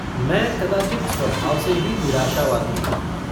मैं कदाचित् स्वभाव से ही निराशावादी हूँ।